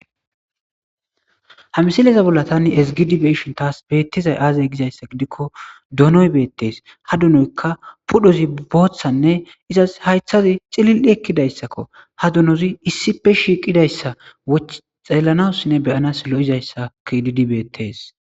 ha msileza bolla tani esgidibe'ishin taas beettizay aazey gizayssa gidikko donoy beettees ha dunoykka pudhozi booththanne izas haythazi xilil7i ekkidayssakko ha dunozi issipe shiiqidayssa woch xeellanawussinne beyanas lo'izayssa kididi beettees